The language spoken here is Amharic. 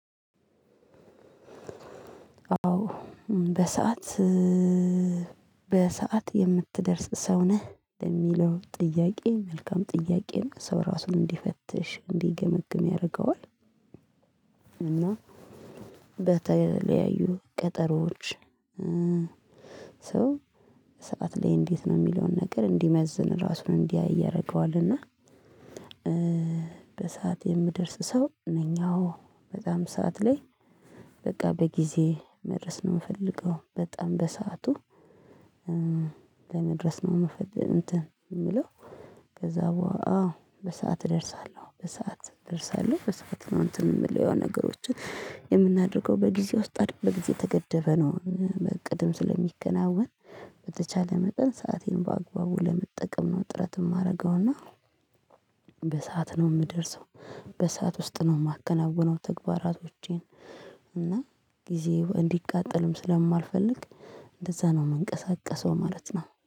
አዎ በሰአት በሰአት የምትደርስ ሰው ነህ ለሚለው ጥያቄ መልካም ጥያቄ ነው ሰው ራሱን እንዲፈትሽ እንዲገመግም ያደርገዋል፤ እና በተለያዩ ቀጠሮዎች ሰው ሰዓት ላይ እንዴት ነው የሚለውን ነገር እንዲመዝን ራሱን እንዲያይ ያደረገዋል እና በሰአት የምደርስ ሰው ነኝ አዎ። በጣም ሰዓት ላይ በቃ በጊዜ መድረስ ነው የምፈልገው በጣም በሰአቱ ለመድረስ ነው የምፈል እንትን የምለው ከዛ በኋላ አዎ በሰአት እደርሳለሁ በሰአት እደርሳለሁ በሰአት ነው እንትን የምለው የሆነ ነገሮችን የምናደርገው በጊዜ ውስጥ በጊዜ የተገደበ ነው በእቅድም ስለሚከናወን በተቻለ መጠን ሰአቴን በአግባቡ ለመጠቀም ነው ጥረት የማደርገው፤ እና በሰአት ነው የምደርሰው በሰአት ውስጥ ነው የማከናውነው ተግባራቶቼን እና ጊዜው እንዲቃጠልም ስለማልፈልግ እንደዛ ነው የምንቀሳቀሰው ማለት ነው።